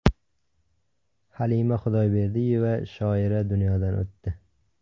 Halima Xudoyberdiyeva, shoira, dunyodan o‘tdi.